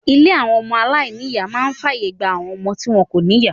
Ilé àwọn ọmọ aláìníìyá máa ń fàyè gba àwọn ọmọ tí wọn kò ní ìyá.